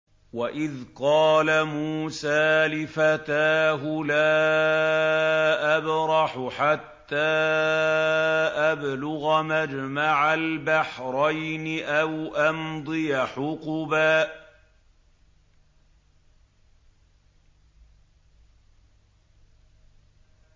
وَإِذْ قَالَ مُوسَىٰ لِفَتَاهُ لَا أَبْرَحُ حَتَّىٰ أَبْلُغَ مَجْمَعَ الْبَحْرَيْنِ أَوْ أَمْضِيَ حُقُبًا